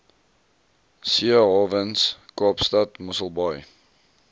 seehawens kaapstad mosselbaai